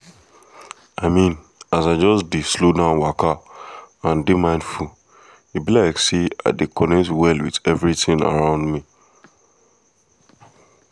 i mean as i just slow down waka and dey mindful e be like say i dey connect well with everything around me